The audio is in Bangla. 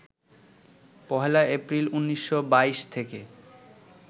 ১লা এপ্রিল, ১৯২২ থেকে